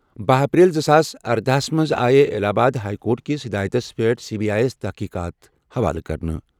بہہ اپریل زٕ ساس اردَہ ہَس منٛز آیہ الہ آباد ہائی کورٹ کِس ہِدایتَس پٮ۪ٹھ سی بی آئی یَس تحقیٖقات حوالہٕ کرنہٕ۔